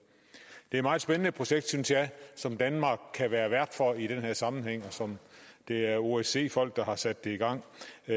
det er meget spændende projekt som danmark kan være vært for i den her sammenhæng og som det er osce folk der har sat i gang